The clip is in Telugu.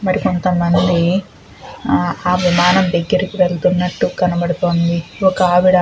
మరి కొంతమంది ఆ విమాన దగ్గరికి వెళుతున్నట్టు కనబడుతోంది ఒక ఆవిడ --